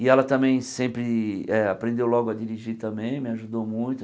E ela também sempre eh aprendeu logo a dirigir também, me ajudou muito.